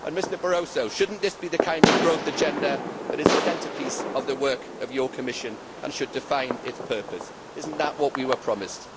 Mr Barroso, should this not be the kind of growth agenda that is the centre piece of the work of your Commission and should define its purpose? Is that not what we were promised?